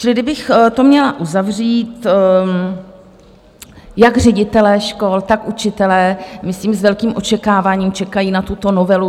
Čili kdybych to měla uzavřít: Jak ředitelé škol, tak učitelé myslím s velkým očekáváním čekají na tuto novelu.